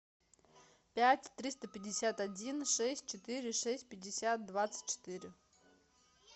пять триста пятьдесят один шесть четыре шесть пятьдесят двадцать четыре